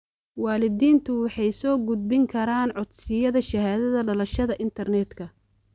Waalidiintu waxay soo gudbin karaan codsiyada shahaadada dhalashada internetka.